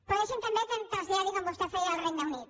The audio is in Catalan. però deixi’m també que em traslladi com vostè feia al regne unit